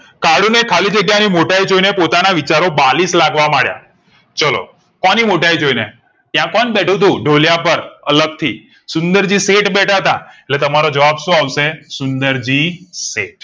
કાળું ને ખાલી જગ્યા ની મોટાઇ જોઈને પોતાના વિચારો બાલિશ લાગવા માંડ્યા ચાલો કોની મોટાઈ જોઈ ને ત્યાં કોણ બેઠું તું ઢોલિયા પર અલગથી સુન્દેરજી શેઠ બેઠાતા એટલે તમારો જવાબ સો આવશે સુન્દેરજી શેઠ